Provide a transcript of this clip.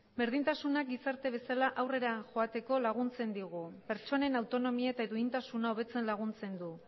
berdintasuna gizarte bezala aurrera joateko laguntzen digu pertsonen autonomia eta duintasuna hobetzen laguntzen du